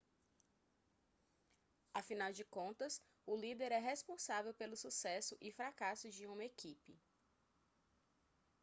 afinal de contas o líder é responsável pelo sucesso e fracasso de uma equipe